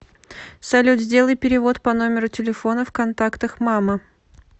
салют сделай перевод по номеру телефона в контактах мама